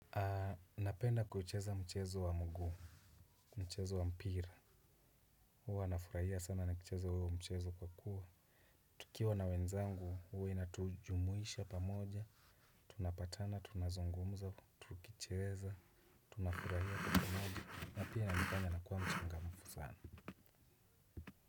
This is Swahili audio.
Napenda kuucheza mchezo wa mguu mchezo wa mpira. Huwa nafurahia sana na kucheza huwo mchezo kwa kuwa tukiwa na wenzangu huwa inatujumuisha pamoja. Tunapatana tunazongumza tukicheza. Tunafurahia kwa pamoja na pia nakufanya nakuwa mchangamufu sana.